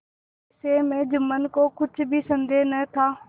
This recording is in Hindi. इस विषय में जुम्मन को कुछ भी संदेह न था